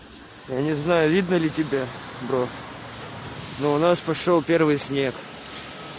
я не знаю видно ли тебя бро но у нас пошёл первый снег